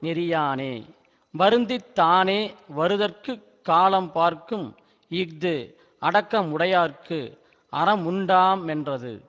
நெறியானே வருந்தித் தானே வருதற்குக் காலம் பார்க்கும் இஃது அடக்கமுடையார்க்கு அறமுண்டாமென்றது